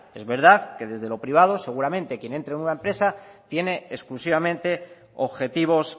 es verdad que desde lo privado seguramente quien entre en una empresa tiene exclusivamente objetivos